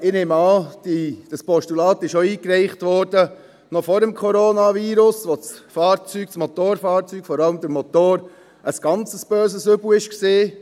Ich nehme an, dieses Postulat wurde noch vor dem Coronavirus eingeführt, als das Fahrzeug, das Motorfahrzeug, vor allem der Motor, ein ganz böses Übel war.